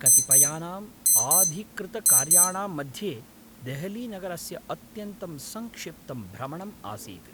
कतिपयानाम् आधिकृतकार्याणां मध्ये देहलीनगरस्य अत्यन्तं सङ्क्षिप्तं भ्रमणम् आसीत्।